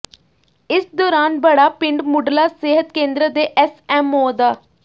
ਇਸ ਦੌਰਾਨ ਬੜਾਪਿੰਡ ਮੁੱਢਲਾ ਸਿਹਤ ਕੇਂਦਰ ਦੇ ਐਸਐਮਓ ਡਾ